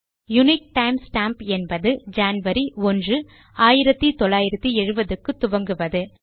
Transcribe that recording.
unique time stamp என்பது January ஒன்று 1970 க்கு துவங்குவது